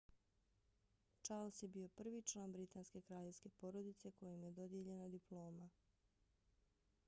charles je bio prvi član britanske kraljevske porodice kojem je dodijeljena diploma